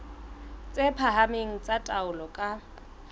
tse phahameng tsa taolo ka